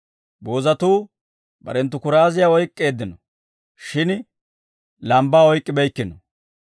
Boozatuu barenttu kuraaziyaa oyk'k'eeddino; shin lambbaa oyk'k'ibeykkino.